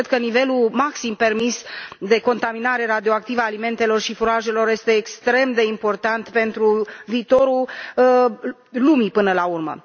Cred că nivelul maxim permis de contaminare radioactivă a alimentelor și furajelor este extrem de important pentru viitorul lumii, până la urmă.